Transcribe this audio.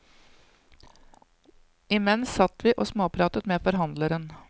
Imens satt vi og småpratet med forhandleren.